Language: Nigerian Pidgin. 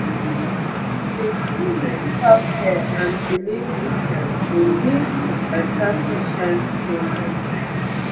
to dey join medical care and belief system dey lead to better patient healness